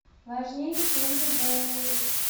важнее чем любовь